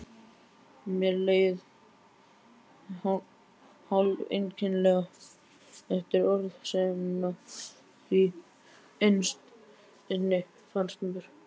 Mér leið hálfeinkennilega eftir orðasennuna, því innst inni fannst mér